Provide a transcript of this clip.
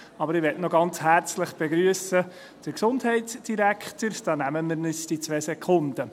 Aber ich möchte ganz herzlich den Gesundheitsdirektor begrüssen, dazu nehmen wir uns die zwei Sekunden.